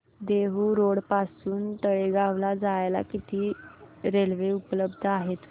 Dehu road पासून तळेगाव ला जायला किती रेल्वे उपलब्ध आहेत